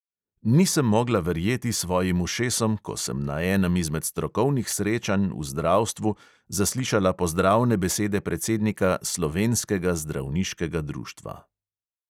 Nisem mogla verjeti svojim ušesom, ko sem na enem izmed strokovnih srečanj v zdravstvu zaslišala pozdravne besede predsednika slovenskega zdravniškega društva.